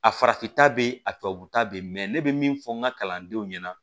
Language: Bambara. A farafin ta bɛ yen a tubabu ta bɛ yen ne bɛ min fɔ n ka kalandenw ɲɛna